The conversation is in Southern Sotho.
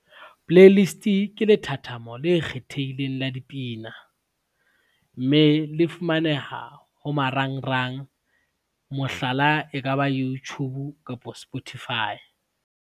Playlist ke lethathamo le kgethehileng la dipina, mme le fumaneha ho marangrang, mohlala e ka ba Youtube kapo Spotify.